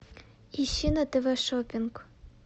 ищи на тв шоппинг